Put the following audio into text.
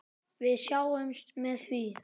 Við sátum með því.